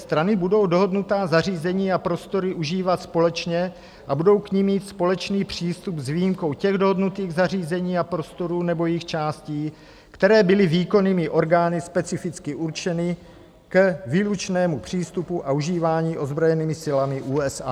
Strany budou dohodnutá zařízení a prostory užívat společně a budou k nim mít společný přístup, s výjimkou těch dohodnutých zařízení a prostorů nebo jejich částí, které byly výkonnými orgány specificky určeny k výlučnému přístupu a užívání ozbrojenými silami USA.